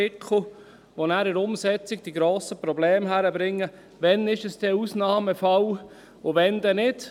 Diese verursachen nachher in der Umsetzung grosse Probleme, und es ist nicht klar, wann es ein Ausnahmefall ist und wann nicht.